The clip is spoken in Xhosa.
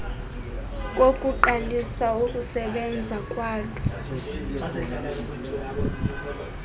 kokuqalisa ukusebenza kwalo